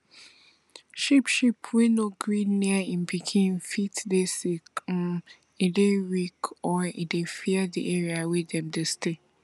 sheep sheep wey no gree near im pikin fit dey sick um e dey weak or e dey fear di area wey dem dey stay